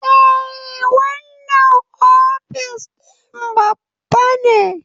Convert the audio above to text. Eh, wannan ofis din babba ne